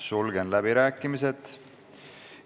Sulgen läbirääkimised.